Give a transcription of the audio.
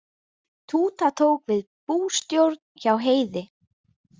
Túta tók við bústjórn hjá Heiði.